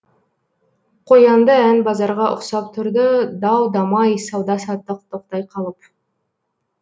қоянды ән базарға ұқсап тұрды дау дамай сауда саттық тоқтай қалып